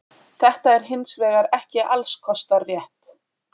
Þetta er hins vegar ekki alls kostar rétt.